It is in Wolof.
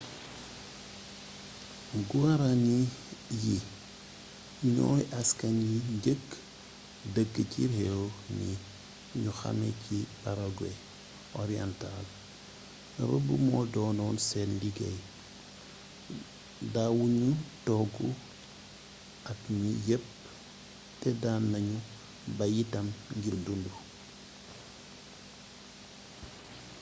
guaraní yi ñooy askan wi njëkk dëkk ci réew mii ñu xamee ci paraguay oriental rëbb moo doonoon seen liggéey daawu ñu toog at mi yépp te daan nañu bay itam ngir dundu